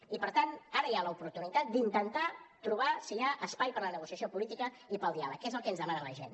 i per tant ara hi ha l’oportunitat d’intentar trobar si hi ha espai per a la negociació política i per al diàleg que és el que ens demana la gent